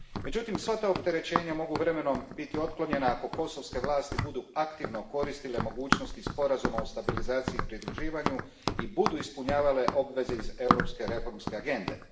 Međutim, sva ta opterećenja mogu vremenom biti otklonjena ako kosovske vlasti budu aktivno koristile mogućnosti Sporazuma o stabilizaciji i pridruživanju i budu ispunjavale obveze iz Europske reformske agende.